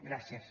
gràcies